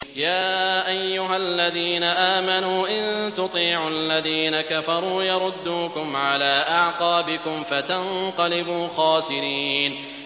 يَا أَيُّهَا الَّذِينَ آمَنُوا إِن تُطِيعُوا الَّذِينَ كَفَرُوا يَرُدُّوكُمْ عَلَىٰ أَعْقَابِكُمْ فَتَنقَلِبُوا خَاسِرِينَ